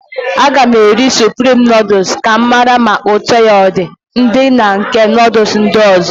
Aga m eri suprim nọọdus ka m mara ma ụtọ ya ọdị dị na nke nọọdus ndị ọzọ.